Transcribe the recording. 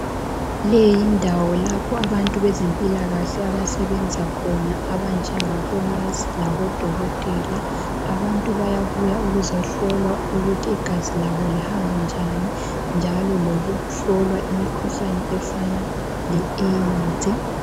Le yindawo lapho abantu bezempilakahle abasebenza khona. Abanjengabo nesi labodokotela. Abantu bayabuya bezehlolwa ukuthi igazi labo lihamba njani, njalo lokuhlolwa imikhuhlane, efana leAIDS.